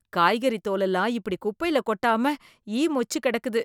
காய்கறி தோலெல்லாம் இப்படி குப்பையில கொட்டாம ஈ மொச்சுக் கெடக்குது